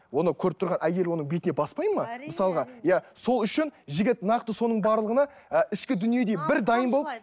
оны көріп тұрған әйел оның бетіне баспайды ма мысалға иә сол үшін жігіт нақты соның барлығына і ішкі дүниедей бір дайын болып